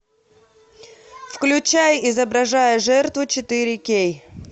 включай изображая жертву четыре кей